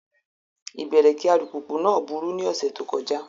Ibẹ̀rẹ̀kì alùpùpù náà burú ní ọ̀sẹ̀ tó kọjá.